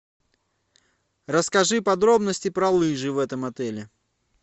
расскажи подробности про лыжи в этом отеле